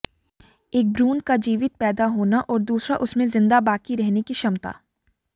एक भ्रूण का जीवित पैदा होना और दूसरा उसमें ज़िन्दा बाक़ी रहने की क्षमता